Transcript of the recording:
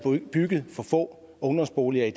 bygget for få ungdomsboliger i